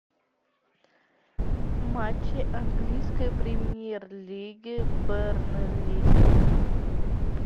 матчи английской премьер лиги бернли